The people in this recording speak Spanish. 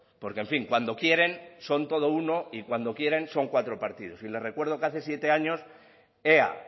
porque en fin cuando quieren son todo uno y cuando quieren son cuatro partidos y le recuerdo que hace siete años ea